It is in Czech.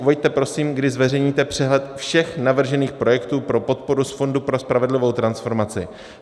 Uveďte prosím, kdy zveřejníte přehled všech navržených projektů pro podporu z Fondu pro spravedlivou transformaci.